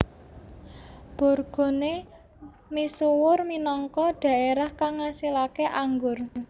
Bourgogne misuwur minangka dhaerah kang ngasilaké anggur